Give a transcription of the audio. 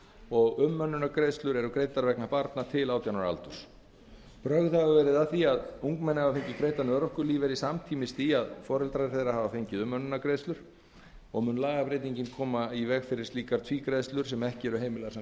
og umönnunargreiðslur eru greiddar vegna barna til átján ára aldurs brögð hafa verið af því að ungmenni hafa fengið greiddan örorkulífeyri samtímis því að foreldrar þeirra hafa fengið umönnunargreiðslur og mun lagabreytingin koma í veg fyrir slíkar tvígreiðslur sem ekki eru heimilar samkvæmt